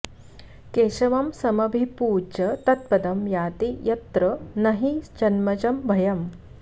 केशवं समभिपूज्य तत्पदं याति यत्र नहि जन्मजं भयम्